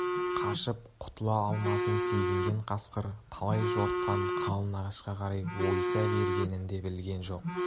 қашып құтыла алмасын сезінген қасқыр талай жортқан қалың ағашқа қарай ойыса бергенін де білген жоқ